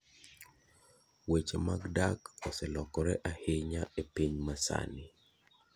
Weche mag dak oselokore ahinya e piny masani.